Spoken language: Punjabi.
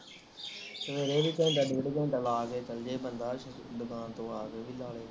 ਸਵੇਰੇ ਵੀ ਘੰਟਾ ਡੇਢ ਘੰਟਾ ਲਾ ਲੇਵੇ ਚਲ ਜਾਵੇ ਬੰਦਾ ਦੁਕਾਨ ਤੋ ਆ ਕੇ ਵੀ ਲਾ